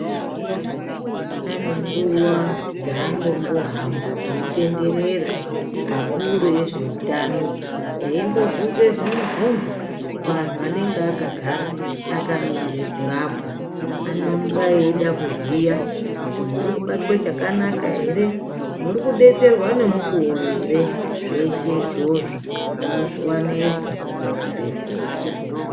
Pane nguva dzaano mbohamba eyitenderera akuru ezveutano eimbo bvunza zvimubvunzo, kuvanhu vanenge vakagara vakamirira kurapwa veibvunza kuti muri kubatwa zvakanaka ere, muri kubetserwa ngemukuwo ere. Zveshe izvozvo munozvionepo pachidhlera.